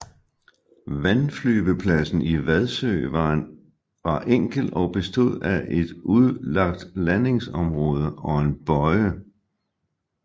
Vandflyvepladsen i Vadsø var enkel og bestod af et udlagt landingsområde og en bøje